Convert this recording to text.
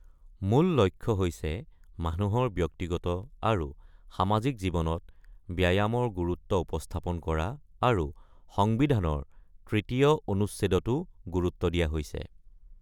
মূল লক্ষ্য হৈছে মানুহৰ ব্যক্তিগত আৰু সামাজিক জীৱনত ব্যায়ামৰ গুৰুত্ব উপস্থাপন কৰা আৰু সংবিধানৰ তৃতীয় অনুচ্ছেদতো গুৰুত্ব দিয়া হৈছে।